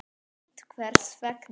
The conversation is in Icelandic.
Frítt Hvers vegna?